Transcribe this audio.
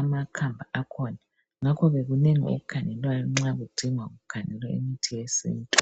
amakhamba akhona. Ngakhoke kunengi okukhangelwayo nxa kudingwa kukhangelwa imithi yesintu.